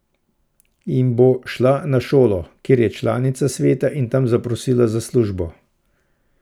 In bo šla na šolo, kjer je članica sveta, in tam zaprosila za službo.